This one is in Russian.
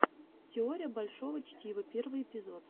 теория большого чтива первый эпизод